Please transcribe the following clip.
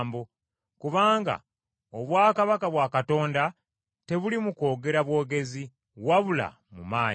Kubanga obwakabaka bwa Katonda tebuli mu kwogera bwogezi, wabula mu maanyi.